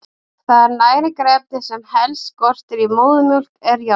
Það næringarefni sem helst skortir í móðurmjólk er járn.